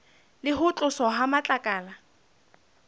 le ho tloswa ha matlakala